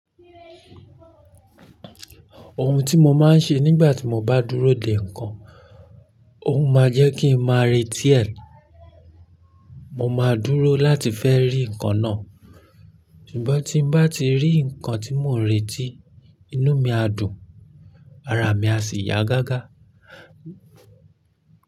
Ohun tí mo máa ń ṣe nígbà tí mo bá dúró dè nǹkan, ó máa jẹ́ kí ń máa retí ẹ̀. Mo máa dúró láti fẹ́ rí nǹkan náà. Ṣùgbọ́n tín bá ti rí nǹkan tí mò ń retí, inú mi á dùn, ara mi á sì yá gágá.